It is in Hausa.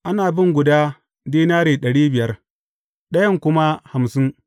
Ana bin guda dinari ɗari biyar, ɗayan kuma hamsin.